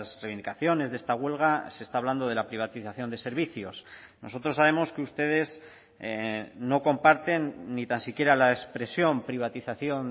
reivindicaciones de esta huelga se está hablando de la privatización de servicios nosotros sabemos que ustedes no comparten ni tan siquiera la expresión privatización